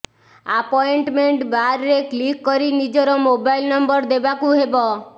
appointment ବାର୍ରେ click କରି ନିଜର ମୋବାଇଲ ନମ୍ବର ଦେବାକୁ ହେବ